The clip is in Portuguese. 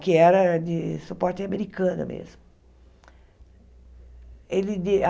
que era de suporte americano mesmo. Ele di a